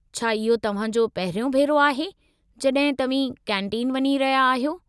छा इहो तव्हां जो पहिरियों भेरो आहे, जॾहिं तव्हीं कैंटीन वञी रहिया आहियो?